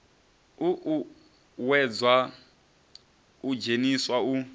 u uuwedzwa u dzheniswa u